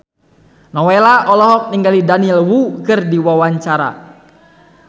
Nowela olohok ningali Daniel Wu keur diwawancara